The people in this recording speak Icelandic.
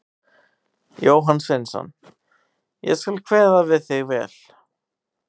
Jóhann Sveinsson: Ég skal kveða við þig vel.